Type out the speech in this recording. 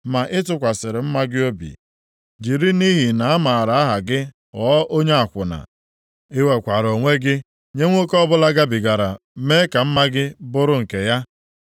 “ ‘Ma ị tụkwasịrị mma gị obi, jiri nʼihi na a mara aha gị ghọọ onye akwụna. I wekwaara onwe gị nye nwoke ọbụla gabigara mee ka mma gị bụrụ nke ya.